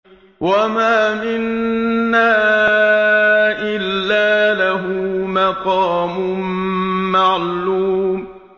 وَمَا مِنَّا إِلَّا لَهُ مَقَامٌ مَّعْلُومٌ